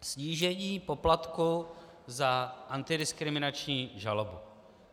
Snížení poplatku za antidiskriminační žalobu.